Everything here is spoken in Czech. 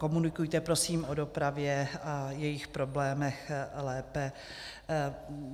Komunikujte prosím o dopravě a jejích problémech lépe.